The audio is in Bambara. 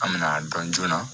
An bɛna dɔn joona